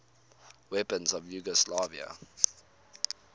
weapons of yugoslavia